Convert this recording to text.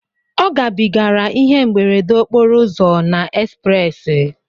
Ọ gabigara ihe mberede okporo ụzọ na ezprezị